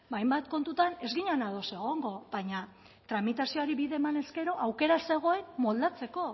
hainbat kontutan ez ginen ados egongo baina tramitazioari bide emanez gero aukera zegoen moldatzeko